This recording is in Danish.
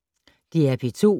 DR P2